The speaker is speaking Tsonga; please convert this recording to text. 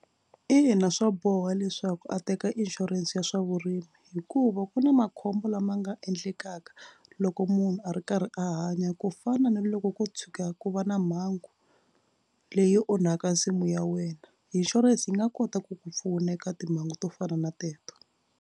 Ina swa boha leswaku a teka inshurense ya swa vurimi hikuva ku na makhombo lama nga endlekaka loko munhu a ri karhi a hanya ku fana na loko ko tshuka ku va na mhangu leyi onhaka nsimu ya wena insurance yi nga kota ku ku pfuna eka timhangu to fana na teto.